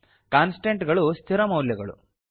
constant ಗಳು ಸ್ಥಿರ ಮೌಲ್ಯಗಳು